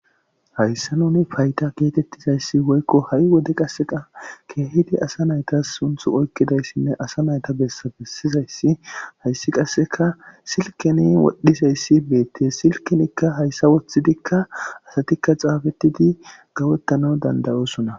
hayssa nuni fayta geetettizayssi woykko ha7i wode qasseqa keehidi asa naytas sunth oykkidayssinne asa nayta besbessizayssi hayssi qasseka silkeni wodhizayssi beette silkinikka hayssa wothidikka asatikka xaafettidi gawettano dandayosona